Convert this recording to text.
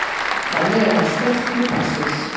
Þannig er hann stólpi búsins.